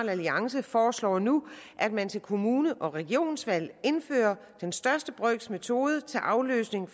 alliance foreslår nu at man til kommune og regionsvalg indfører den største brøks metode til afløsning